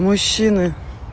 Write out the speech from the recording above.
мужчины